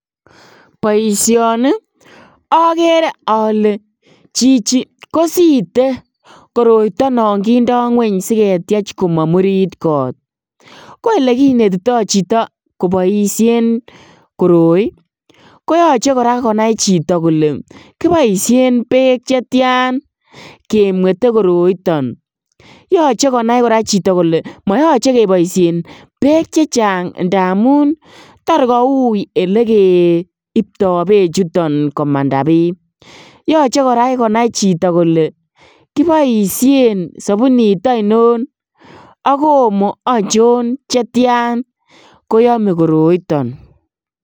Boishoni okere olee chichi kosite koroito non kindo ngweny siketiech komomurit koot, ko elekinetitoi chito koboishen koroi koyoche kora konai chito kole kiboishen beek chetian kemwete koroiton, yoche konai kora chito kole moyoche keboishen beek chechang ndamun tor kouii elekiribto bechuton komanda bii, yoche kora konai chito kolee koboishen sabunit ainon ak omoo ochon chetian koyome koroiton.